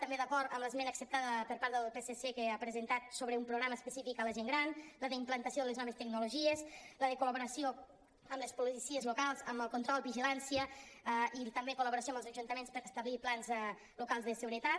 també d’acord amb l’esmena acceptada per part del psc que ha presentat sobre un programa específic a la gent gran la d’implantació a les noves tecnologies la de col·laboració amb les policies locals amb el control vigilància i també col·laboració amb els ajuntaments per establir plans locals de seguretat